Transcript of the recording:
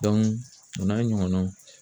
o n'a ɲɔgɔnnaw.